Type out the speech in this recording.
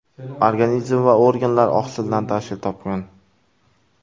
Organizm va organlar oqsildan tashkil topgan.